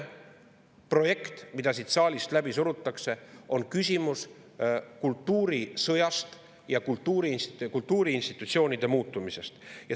Projekt, mida siin saalis praegu läbi surutakse, on küsimus kultuurisõjast ja kultuuriinstitutsioonide muutumisest.